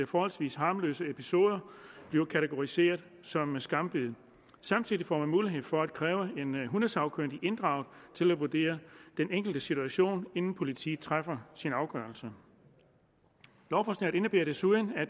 forholdsvis harmløse episoder bliver kategoriseret som skambid samtidig får man mulighed for at kræve en hundesagkyndig inddraget til at vurdere den enkelte situation inden politiet træffer sin afgørelse lovforslaget indebærer desuden at